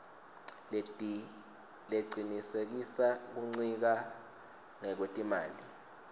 lecinisekisa kuncika ngekwetimali